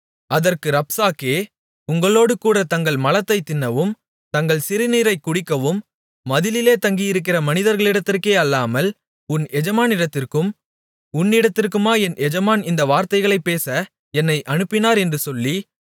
அதற்கு ரப்சாக்கே உங்களோடுகூடத் தங்கள் மலத்தைத் தின்னவும் தங்கள் சிறுநீரைக் குடிக்கவும் மதிலிலே தங்கியிருக்கிற மனிதர்களிடத்திற்கே அல்லாமல் உன் எஜமானிடத்திற்கும் உன்னிடத்திற்குமா என் எஜமான் இந்த வார்த்தைகளைப் பேச என்னை அனுப்பினார் என்று சொல்லி